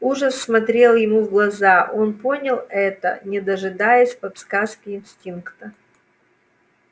ужас смотрел ему в глаза он понял это не дожидаясь подсказки инстинкта